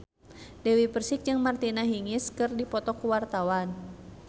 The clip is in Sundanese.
Dewi Persik jeung Martina Hingis keur dipoto ku wartawan